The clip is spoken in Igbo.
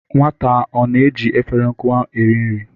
Nwata a ọ na-eji efere nkụwa eri nri?